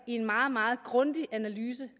i en meget meget grundig analyse